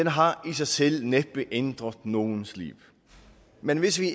har i sig selv næppe ændret nogens liv men hvis vi